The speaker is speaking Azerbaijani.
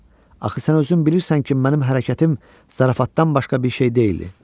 Axı sən özün bilirsən ki, mənim hərəkətim zarafatdan başqa bir şey deyildi.